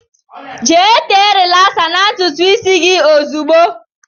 Jee tee rilasa n' ntụtụ gị ahụ ozigbo!!